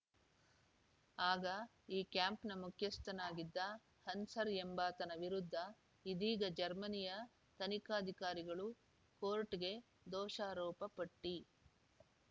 ಆಗ ಈ ಕ್ಯಾಂಪ್‌ನ ಮುಖ್ಯಸ್ಥನಾಗಿದ್ದ ಹನ್ಸ್ರ್ ಎಂಬಾತನ ವಿರುದ್ಧ ಇದೀಗ ಜರ್ಮನಿಯ ತನಿಖಾಧಿಕಾರಿಗಳು ಕೋರ್ಟ್‌ಗೆ ದೋಷಾರೋಪ ಪಟ್ಟಿ